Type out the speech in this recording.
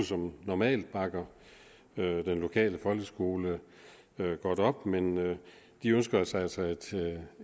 som normalt bakker den lokale folkeskole godt op men de ønsker sig altså